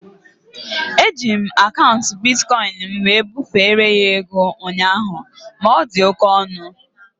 Eji m akaụntụ bitkọin m wee bufere ya ego ụnyaahụ ma ọ dị oké ọnụ